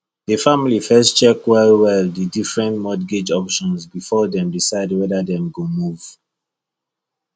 the family first check wellwell the different mortgage options before dem decide whether dem go move